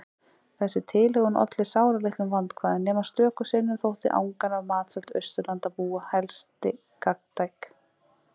Þessi tilhögun olli sáralitlum vandkvæðum- nema stöku sinnum þótti angan af matseld Austurlandabúa helsti gagntæk.